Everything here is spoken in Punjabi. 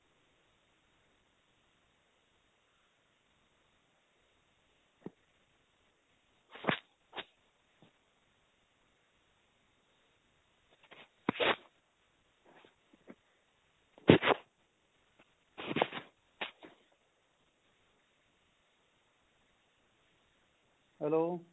hello